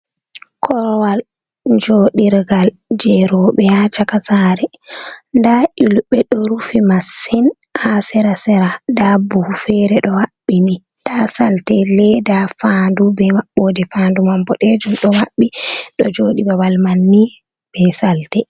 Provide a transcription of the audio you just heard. Korwal joɗirgal je robe ha caka sare. Nɗa ulbe ɗo rufi masin ha sera-sera. Nɗa buhu fere ɗo habbini. Nɗa salte leɗa, fanɗu, be mabboɗe fanɗu mam boɗejum ɗo mabbi. Ɗo joɗi babal man ni be salte.